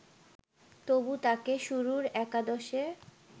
তবু তাকে শুরুর একাদশে